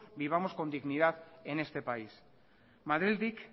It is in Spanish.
vivamos con dignidad en este país madrildik